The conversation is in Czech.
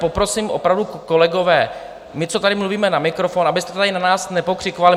Poprosím opravdu, kolegové, my, co tady mluvíme na mikrofon, abyste tady na nás nepokřikovali.